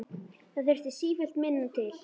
Það þurfti sífellt minna til.